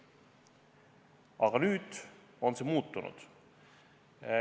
Aga nüüd on see muutunud.